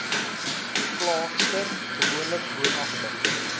klaagster gewoonlik woonagtig